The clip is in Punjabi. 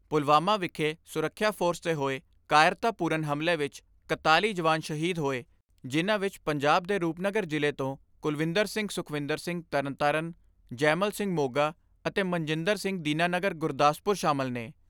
ਪੁਲਵਾਮਾ ਵਿਖੇ ਸੁਰੱਖਿਆ ਫੋਰਸ 'ਤੇ ਹੋਏ ਕਾਇਰਤਾਪੂਰਨ ਹਮਲੇ ਵਿੱਚ ਇਕਤਾਲੀ ਜਵਾਨ ਸ਼ਹੀਦ ਹੋਏ ਜਿਨ੍ਹਾਂ ਵਿਚ ਪੰਜਾਬ ਦੇ ਰੂਪਨਗਰ ਜ਼ਿਲ੍ਹੇ ਤੋਂ ਕੁਲਵਿੰਦਰ ਸਿੰਘ ਸੁਖਵਿੰਦਰ ਸਿੰਘ ਤਰਨਤਾਰਨ, ਜੈਮਲ ਸਿੰਘ ਮੋਗਾ ਅਤੇ ਮਨਜਿੰਦਰ ਸਿੰਘ ਦੀਨਾ ਨਗਰ ਗੁਰਦਾਸਪੁਰ ਸ਼ਾਮਲ ਨੇ।